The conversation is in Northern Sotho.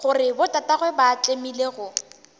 gore botatagwe ba tlemile go